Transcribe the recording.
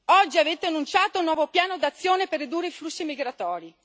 Oggi avete annunciato un nuovo piano d'azione per ridurre i flussi migratori.